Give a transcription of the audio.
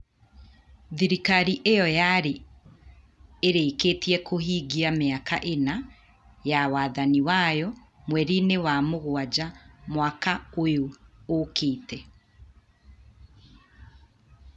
Thirikari ĩyo yarĩ ĩrĩkĩtie kũhingia mĩaka ĩna ya wathani wayo mweri-inĩ wa mũgwanja mwaka ũyũ ũkĩte.